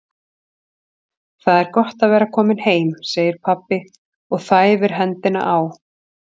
Það er gott að vera kominn heim, segir pabbi og þæfir hendina á